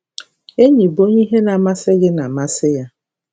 Enyì bụ onye ihe na-amasị gị na-amasị ya.